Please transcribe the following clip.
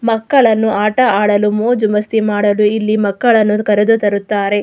ಮಕ್ಕಳನ್ನು ಆಟ ಆಡಲು ಮೋಜು ಮಾಸ್ತಿ ಮಾಡಲು ಇಲ್ಲಿ ಮಕ್ಕಳನ್ನು ಕರೆದು ತರುತ್ತಾರೆ.